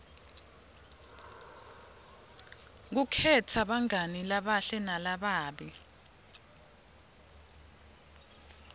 kukhetsa bangani labahle nalababi